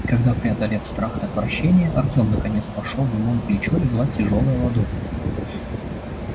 и когда преодолев страх и отвращение артем наконец пошёл ему на плечо легла тяжёлая ладонь